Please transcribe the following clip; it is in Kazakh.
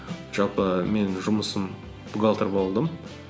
жалпы менің жұмысым бухгалтер болдым